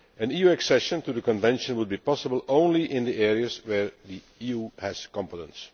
EU accession to the Convention will be possible only in the areas where the EU has competence.